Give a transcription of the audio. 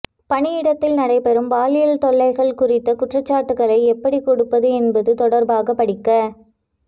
பணியிடத்தில் நடைபெறும் பாலியல் தொல்லைகள் குறித்த குற்றச்சாட்டுகளை எப்படி கொடுப்பது என்பது தொடர்பாக படிக்க